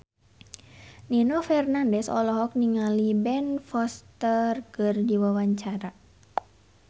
Nino Fernandez olohok ningali Ben Foster keur diwawancara